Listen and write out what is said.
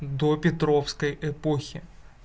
до петровской эпохи